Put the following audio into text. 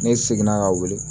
Ne seginna ka wuli